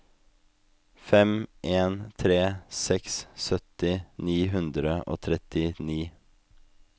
fem en tre seks sytti ni hundre og trettini